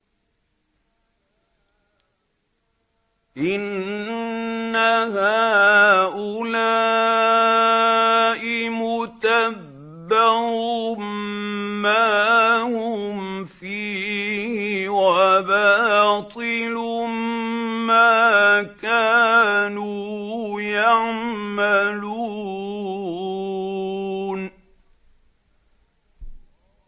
إِنَّ هَٰؤُلَاءِ مُتَبَّرٌ مَّا هُمْ فِيهِ وَبَاطِلٌ مَّا كَانُوا يَعْمَلُونَ